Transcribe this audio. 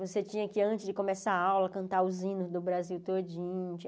Você tinha que, antes de começar a aula, cantar os hinos do Brasil todinho.